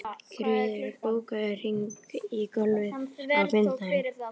Ingiríður, bókaðu hring í golf á fimmtudaginn.